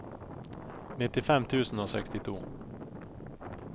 nittifem tusen og sekstito